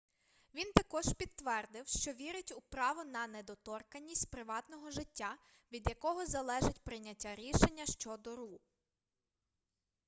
він також підтвердив що вірить у право на недоторканність приватного життя від якого залежить прийняття рішення щодо ру